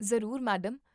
ਜ਼ਰੂਰ, ਮੈਡਮ